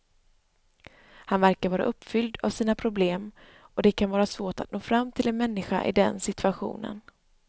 Han verkar vara uppfylld av sina problem och det kan vara svårt att nå fram till en människa i den situationen.